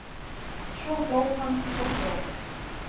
Svo hló hann og hló.